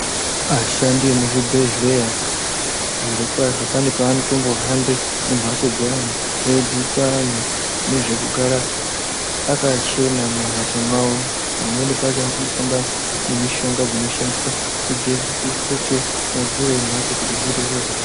Vashandi vemuzvibhedhlera zviro kwazvo pane panohambe kumbatso piyani eidzidzisa antu nezvekugare Akachena mumbatso mawo pamweni pacho anotombohamba nemushonga unoshandiswa kugeza kuhloke madziro embatso kuti zviite zvakanaka.